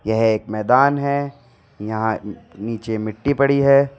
यह एक मैदान है यहां नीचे मिट्टी पड़ी है।